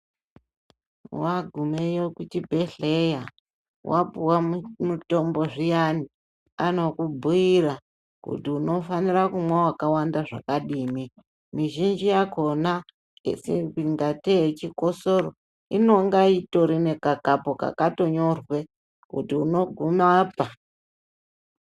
Wagumeyo kuchibhedhleya, wapuwa mutombo zviyani, anokubhuyira kuti unofanira kumwa wakawanda zvakadii. Mizhinji yakona ingateyi yechikosoro inonga itori nekakapu kakatonyorwa kuti unoguma apa.